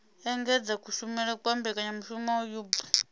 engedza kushumele kwa mbekanyamushumo hub